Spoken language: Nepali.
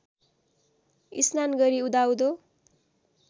स्नान गरी उदाउँदो